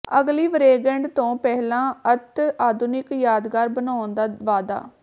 ਅਗਲੀ ਵਰੇਗੰਢ ਤੋਂ ਪਹਿਲਾਂ ਅਤਿ ਆਧੁਨਿਕ ਯਾਦਗਾਰ ਬਣਾਉਣ ਦਾ ਵਾਅਦਾ